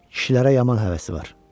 Kişilərə yaman həvəsi var.